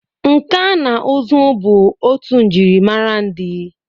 Nka na ụzụ bụ otu njirimara ndị.